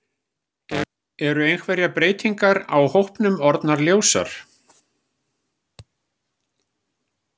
Eru einhverjar breytingar á hópnum orðnar ljósar?